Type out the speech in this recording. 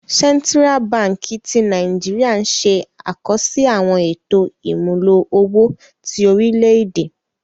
Sentira Bánkì ti Nàìjíríà n ṣẹ̀ àkọsí àwọn ètò imúlò owó ti orílẹ̀-èdè.